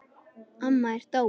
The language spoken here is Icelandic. Amma er dáin.